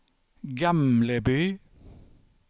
Gamleby